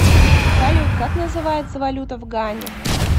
салют как называется валюта в гане